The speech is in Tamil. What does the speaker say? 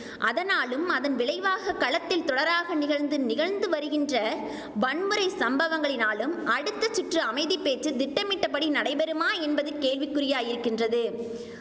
அதனாலும் அதன் விளைவாக களத்தில் தொடராக நிகழ்ந்து நிகழ்ந்து வருகின்ற வன்முறை சம்பவங்களினாலும் அடுத்த சுற்று அமைதிப்பேச்சு திட்டமிட்டபடி நடைபெறுமா என்பது கேள்விக் குறியாயிருக்கின்றது